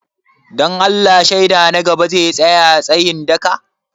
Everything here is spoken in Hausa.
Don Allah shaida na gaba zai tsaya tsayin daka?